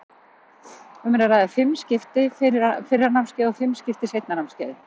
Um er að ræða fimm skipti fyrra námskeiðið og fimm skipti seinna námskeiðið.